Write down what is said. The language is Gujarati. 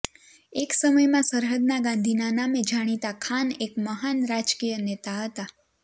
એક સમયમાં સરહદના ગાંધીના નામે જાણીતા ખાન એક મહાન રાજકીય નેતા હતાં